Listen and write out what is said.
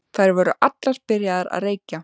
Þær voru allar byrjaðar að reykja.